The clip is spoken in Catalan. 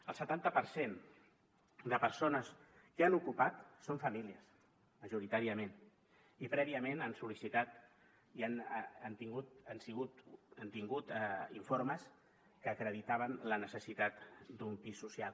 el setanta per cent de persones que han ocupat són famílies majoritàriament i prèviament han sol·licitat i han tingut informes que acreditaven la necessitat d’un pis social